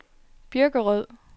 Birkerød